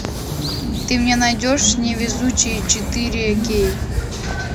ты мне найдешь невезучие четыре кей